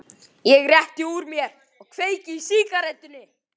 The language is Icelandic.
Ég rétti úr mér og kveiki í sígarettunni.